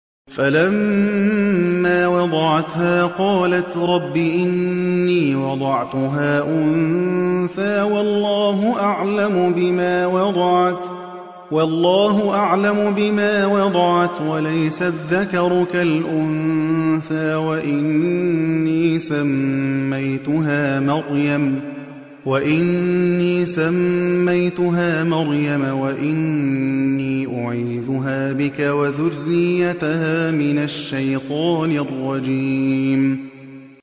فَلَمَّا وَضَعَتْهَا قَالَتْ رَبِّ إِنِّي وَضَعْتُهَا أُنثَىٰ وَاللَّهُ أَعْلَمُ بِمَا وَضَعَتْ وَلَيْسَ الذَّكَرُ كَالْأُنثَىٰ ۖ وَإِنِّي سَمَّيْتُهَا مَرْيَمَ وَإِنِّي أُعِيذُهَا بِكَ وَذُرِّيَّتَهَا مِنَ الشَّيْطَانِ الرَّجِيمِ